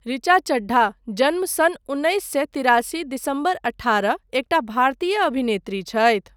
ऋचा चड्ढा, जन्म सन् उन्नैस सए तिरासी दिसम्बर अठारह, एकटा भारतीय अभिनेत्री छथि।